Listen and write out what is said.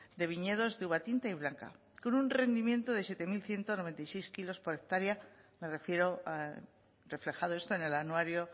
de viñedos de uva tinta y blanca con un rendimiento de siete mil ciento noventa y seis kilos por hectárea me refiero reflejado esto en el anuario